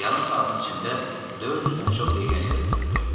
Yarım saatin içində 400-dən çox legioner öldürüldü.